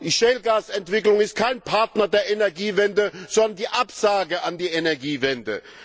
Die Schiefergasentwicklung ist kein Partner der Energiewende, sondern die Absage an die Energiewende.